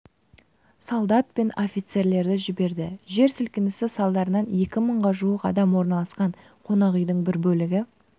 солдат пен офицерлерді жіберді жер сілкінісі салдарынан екі мыңға жуық адам орналасқан қонақүйдің бір бөлігі